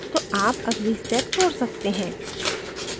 तो आप अगली step छोड़ सकते हैं